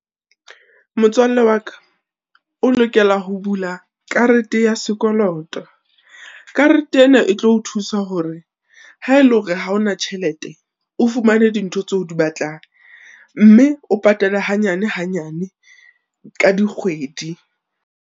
Motswalle wa ka, o lokela ho bula karete ya sekoloto, karete ena e tlo o thusa hore ha ele hore ha ona tjhelete o fumane dintho tseo o di batlang, mme o patale hanyane hanyane ka dikgwedi.